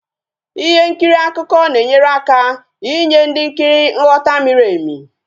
Ihe nkiri akụkọ na enyere aka enye ndị nkiri nghọta miri emi